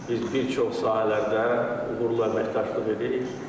Biz bir çox sahələrdə uğurla əməkdaşlıq edirik.